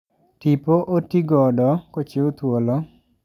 Tipo otigodo kochiw thuolo